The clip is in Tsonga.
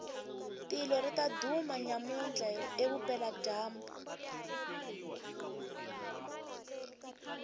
tilo ritaduma nyamutla evupela jambu